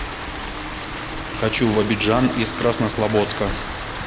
хочу в абиджан из краснослободска